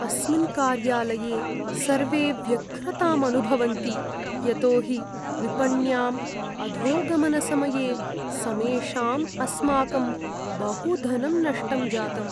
अस्मिन् कार्यालये सर्वे व्यग्रताम् अनुभवन्ति यतोहि विपण्याम् अधोगमनसमये समेषाम् अस्माकं बहु धनं नष्टं जातम्।